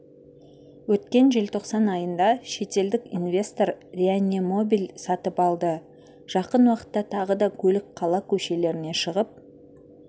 өткен желтоқсан айында шетелдік инвестор реанемобиль сатып алды жақын уақытта тағы да көлік қала көшелеріне шығып